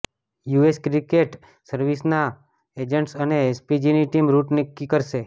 US secret સર્વિસના agents અને એસપીજીની ટીમ રૂટ નક્કી કરશે